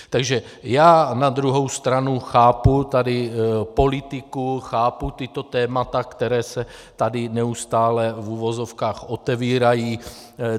Takže já na druhou stranu chápu tady politiku, chápu tato témata, která se tady neustále v uvozovkách otevírají.